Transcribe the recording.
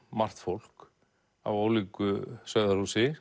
margt fólk af ólíku